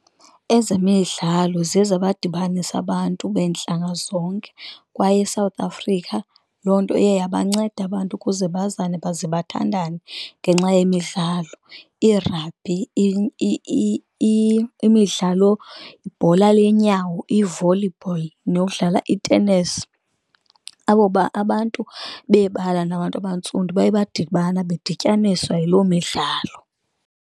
Ezemidlalo ziye zabadibanisa abantu beentlanga zonke, kwaye eSouth Africa loo nto iye yabanceda abantu ukuze bazane baze bathandane ngenxa yemidlalo. I-rugby, imidlalo, ibhola lenyawo, i-volleyball, nokudlala itenesi, abo abantu bebala nabantu abantsundu baye badibana bedityaniswa yiloo midlalo.